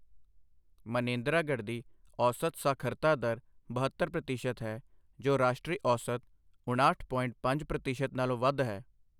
ਮਾਨੇਂਦਰਾਗੜ੍ਹ ਦੀ ਔਸਤ ਸਾਖਰਤਾ ਦਰ ਬਹੱਤਰ ਪ੍ਰਤੀਸ਼ਤ ਹੈ, ਜੋ ਰਾਸ਼ਟਰੀ ਔਸਤ ਉਣਾਹਠ ਪੋਇੰਟ ਪੰਜ ਪ੍ਰਤੀਸ਼ਤ ਨਾਲੋਂ ਵੱਧ ਹੈ।